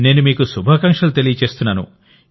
నేను మీకు శుభాకాంక్షలు తెలుపుతున్నాను